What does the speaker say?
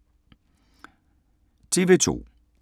TV 2